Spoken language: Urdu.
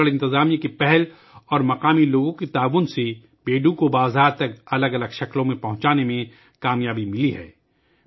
پتھورا گڑھ انتظامیہ کی پہل اور مقامی لوگوں کے تعاون سے بیڑو کو مختلف شکلوں میں بازار تک پہنچانے میں کامیابی ملی ہے